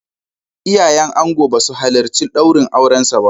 Iyayen angon ba su halarci daurin aurensa ba.